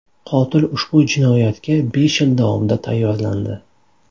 Qotil ushbu jinoyatga besh yil davomida tayyorlandi.